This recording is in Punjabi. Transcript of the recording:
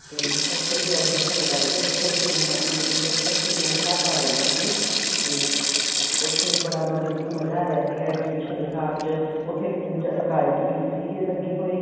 ਤੇ ਉਥੇ ਅਸੀਂ exhibition ਲਗਾਈ ਸੀ ਉੱਥੇ ਅਸੀਂ ਇੰਨਾ ਮਤਲਬ ਕੀ ਉੱਥੇ ਅਸੀਂ ਤਿੰਨ ਰਾਤਾਂ ਰਹੇ ਸੀਗੇ ਤੇ ਉੱਥੇ ਬੜਾ ਮਤਲਬ ਕੀ ਮਜ਼ਾ ਆਇਆ ਸੀਗਾ exhibition ਲਗਾਨ ਚ ਉੱਥੇ ਅਹ ਗਾਇਕ ਵੀ ਸੀਗੇ ਲੱਗੇ ਹੋਏ